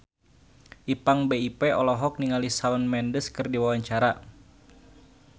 Ipank BIP olohok ningali Shawn Mendes keur diwawancara